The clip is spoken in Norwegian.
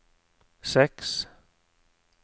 seks